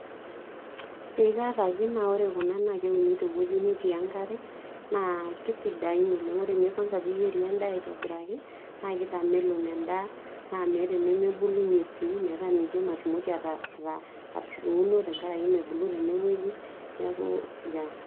eee kaata pii naa ore kuna naa kewuni tewueji netii enkare, naa keisidain oleng ore kwanza pee iyieri endaa aitobiraki naa keitamelok endaa naa meeta enemebulunye sii metaa mijo matumoki atuuno tenkaraki mebulu tenewueji niaku yeah